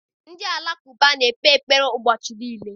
Ndị Alakụba na-ekpe ekpere ụbọchị niile.